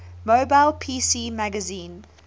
mobile pc magazine